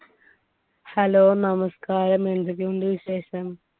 hello നമസ്കാരം എന്തൊക്കെയുണ്ട് വിശേഷം